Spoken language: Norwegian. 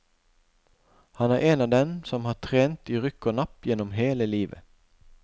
Han er av dem som har trent i rykk og napp gjennom hele livet.